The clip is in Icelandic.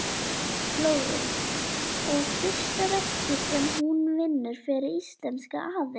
Flórens og fyrsta verkið sem hún vinnur fyrir íslenska aðila.